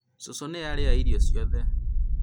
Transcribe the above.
cũcũ nĩ arĩa irio ciothe